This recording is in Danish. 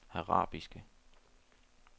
arabiske